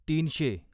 तीनशे